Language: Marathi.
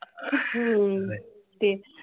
हम्म तेच